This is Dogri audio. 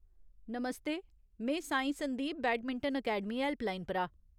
नमस्ते ! में Sai Sandeep badminton academy helpline परा।